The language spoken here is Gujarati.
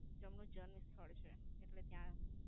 જેમનું જન્મ સ્થળ છે. એટલે ત્યાં.